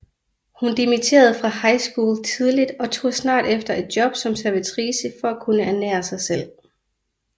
Hun dimitterede fra high school tidligt og tog snart efter et job som servitrice for at kunne ernære sig selv